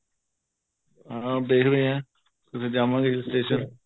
ਹਾਂ ਦੇਖਦੇ ਹਾਂ ਕਿਥੇ ਜਾਵਾਗੇ hill station